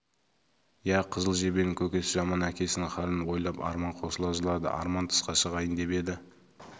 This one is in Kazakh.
иә қызыл жебенің көкесі жаман әкесінің халін ойлап арман қосыла жылады арман тысқа шығайын деп еді